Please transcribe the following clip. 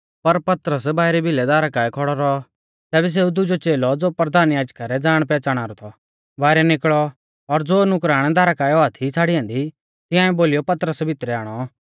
पर पतरस बाइरी भिलै दारा काऐ खौड़ौ रौ तैबै सेऊ दुजौ च़ेलौ ज़ो परधान याजका रौ ज़ाणपैहच़ाणा रौ थौ बाइरै निकल़ौ और ज़ो नुकराण दारा काऐ औआ थी छ़ाड़ी ऐन्दी तिंआलै बोलीयौ पतरस भितरै आणौ